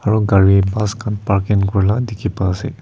aru gari bus khan parking kore lah dikhi pa ase.